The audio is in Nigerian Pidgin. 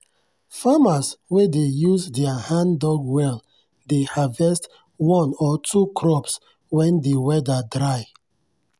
farmers wey dey use their hand-dug well dey harvest one or two crops when de weather dry.